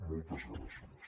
moltes gràcies